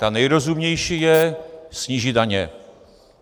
Ta nejrozumnější je snížit daně.